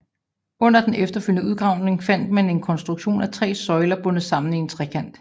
Under den efterfølgende udgravning fandt man en konstruktion af tre søjler bundet sammen i en trekant